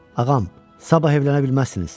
Ağam, sabah evlənə bilməzsiniz.